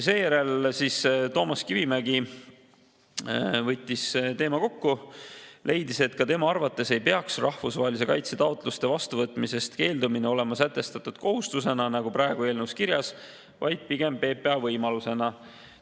Seejärel võttis Toomas Kivimägi teema kokku, leides, et ka tema arvates ei peaks rahvusvahelise kaitse taotluste vastuvõtmisest keeldumine olema sätestatud kohustusena, nagu praegu eelnõus kirjas, vaid pigem PPA võimalusena.